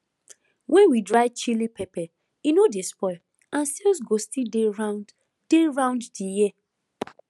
when we dry chilli pepper e no dey spoil and sales go still dey round dey round the year